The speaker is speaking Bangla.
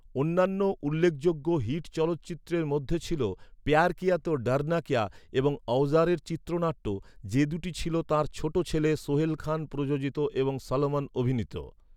অন্যান্য উল্লেখযোগ্য হিট চলচ্চিত্রের মধ্যে ছিল, "পেয়ার কিয়া তো ডরনা কেয়া" এবং "অওজ়ারের" চিত্রনাট্য, যে দুটি ছিল তাঁর ছোট ছেলে সোহেল খান প্রযোজিত এবং সলমন অভিনীত।